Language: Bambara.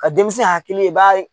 Ka denmisɛn ya hakili i b'a ye